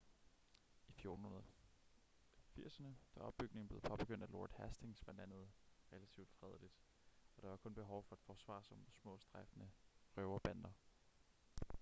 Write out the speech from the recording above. i 1480'erne da opbygningen blev påbegyndt af lord hastings var landet relativt fredeligt og der var kun behov for at forsvare sig mod små strejfende røverbander